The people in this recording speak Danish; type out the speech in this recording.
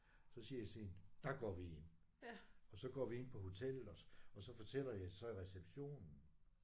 Så siger jeg til hende der går vi ind. Og så går vi ind på hotellet og og så fortæller jeg så i receptionen